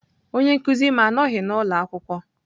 Onye nkuzi m anọghị n'ụlọ akwụkwọ.